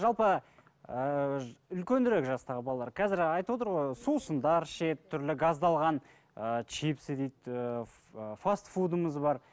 жалпы ыыы үлкенірек жастағы балалар қазір айтып отыр ғой сусындар ішеді түрлі газдалған ыыы чипсы дейді ыыы фастфудымыз бар